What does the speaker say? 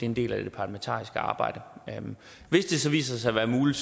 en del af det parlamentariske arbejde hvis det så viser sig at være muligt